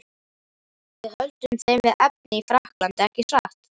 Við höldum þeim við efnið í Frakklandi, ekki satt?